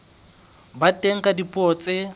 ba teng ka dipuo tse